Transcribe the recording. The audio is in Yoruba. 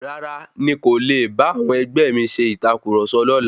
Rárá, ní kò le bá awọn ẹgbẹ́ mi ṣe ìtàkurọ̀sọ lọ́la.